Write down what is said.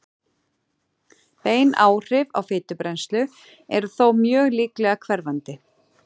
Bein áhrif á fitubrennslu eru þó mjög líklega hverfandi.